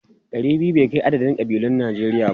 Ɗari biyu bai kai adadin kabilun Najeriya ba.